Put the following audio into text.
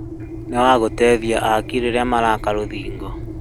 Nĩwagũteithiaaki rĩrĩa maraka rũthingo